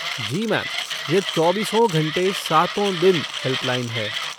जी ma'am, यह चौबीसों घंटे सातो दिन हेल्पलाइन है।